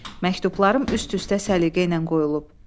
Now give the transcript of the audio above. Məktublarım üst-üstə səliqə ilə qoyulub.